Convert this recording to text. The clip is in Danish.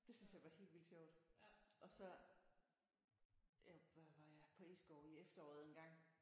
Det synes jeg var helt vildt sjovt og så hvad var var jeg på Egeskov i efteråret engang